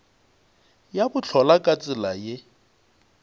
ya bohlola ka tsela ye